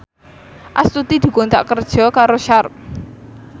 Astuti dikontrak kerja karo Sharp